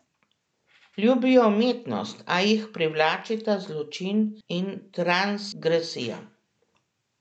Ljubijo umetnost, a jih privlačita zločin in transgresija.